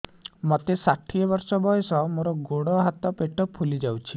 ମୋତେ ଷାଠିଏ ବର୍ଷ ବୟସ ମୋର ଗୋଡୋ ହାତ ପେଟ ଫୁଲି ଯାଉଛି